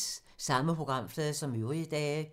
Samme programflade som øvrige dage